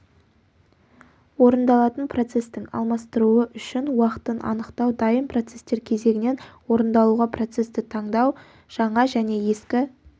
орындалатын процестің алмастыруы үшін уақытын анықтау дайын процестер кезегінен орындалуға процесті таңдау жаңа және ескі